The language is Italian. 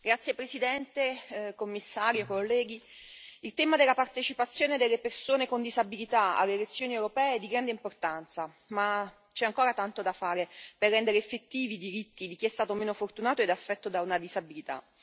Signora Presidente, onorevoli colleghi, signor Commissario, il tema della partecipazione delle persone con disabilità alle elezioni europee è di grande importanza. Ma c'è ancora tanto da fare per rendere effettivi i diritti di chi è stato meno fortunato ed è affetto da una disabilità.